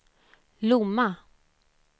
Lomma